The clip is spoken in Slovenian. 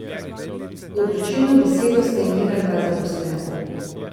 Odločilno besedo sta imela dva zaposlena.